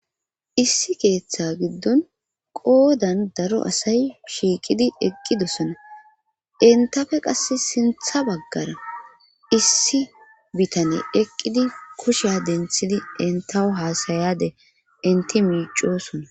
issi keeththa giddon qoodan daro asay shiiqidi eqqidessona entafe qas sintha baggara issi bitane eqqidi kushiya denthidi entawo haasayade inti miicosona